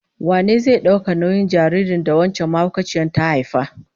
Wane zai dauki nauyin jaririn da wancan mahaukaciyar ta haifa?